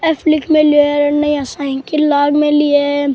Cycle लाग मेली है।